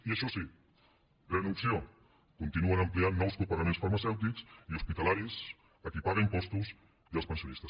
i això sí pren opció continuen ampliant nous copagaments farmacèutics i hospitalaris a qui paga impostos i als pensionistes